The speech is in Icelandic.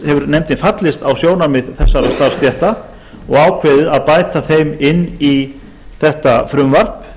hefur nefndin fallist á sjónarmið þessara starfsstétta og ákveðið að bæta þeim inn í þetta frumvarp